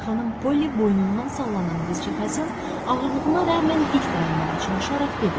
Xanım Polly boynundan sallanan qızcığazın ağırlığına rəğmən dik dayanmağa çalışaraq dedi: